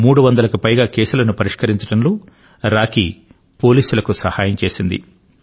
300 కి పైగా కేసులను పరిష్కరించడంలో రాకీ పోలీసులకు సహాయం చేసింది